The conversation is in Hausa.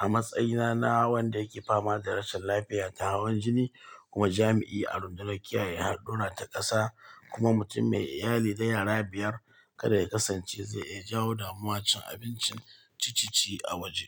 a matsayina na wanda yake fama da rashin lafiya ta hawan jini kuma jami'i a rundunar kiyaye hadduna ta ƙasa kuma mutum mai iyali da yara biyar. Kada ya kasance zai iya jawo damuwan cin abincin ciccice a waje.